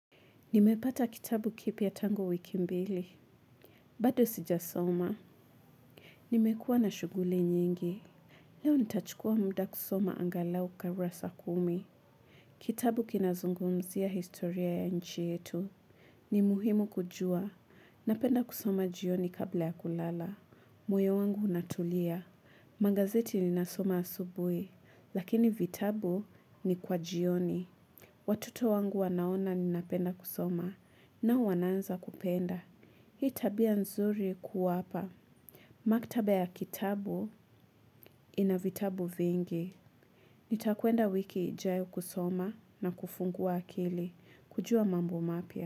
Nimepata kitabu kipiya tangu wiki mbili. Bado sijasoma. Nimekuwa na shuguli nyingi. Leo nitachukua muda kusoma angalauka urasa kumi. Kitabu kinazungumzia historia ya nchi yetu. Ni muhimu kujua. Napenda kusoma jioni kabla ya kulala. Moyo wangu unatulia. Magazeti ninasoma asubui. Lakini vitabu ni kwa jioni. Watoto wangu wanaona ninapenda kusoma. Nao wananza kupenda. Hii tabia nzuri kuwapa. Maktaba ya kitabu ina vitabu vingi. Nitakuenda wiki ijayo kusoma na kufungua akili. Kujua mambo mapia.